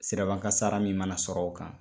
Siraban kasara min mana sɔrɔ o kan